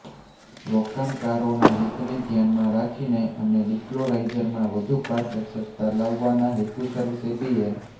રોકાણકારોના હિતને ધ્યાનમાં રાખીને અને ડિસ્ક્લોઝરમાં વધુ પારદર્શકતા લાવવાના હેતુસર સેબીએ